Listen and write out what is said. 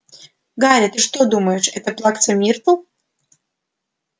гарри ты что думаешь это плакса миртл